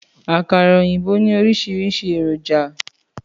Àkàrà òyìnbó ní oríṣiríṣi èròjà